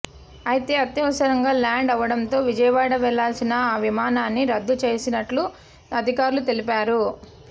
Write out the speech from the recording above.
అయితే అత్యవసరంగా ల్యాండ్ అవడంతో విజయవాడ వెళ్లాల్సిన ఆ విమానాన్ని రద్దు చేసినట్లు అధికారులు తెలిపారు